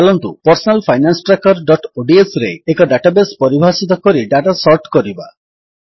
ଚାଲନ୍ତୁ Personal Finance Trackerodsରେ ଏକ ଡାଟାବେସ୍ ପରିଭାଷିତ କରି ଡାଟା ସର୍ଟ କରିବା